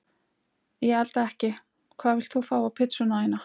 Ég elda ekki Hvað vilt þú fá á pizzuna þína?